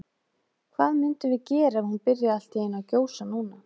Hvað myndum við gera ef hún byrjaði allt í einu að gjósa núna?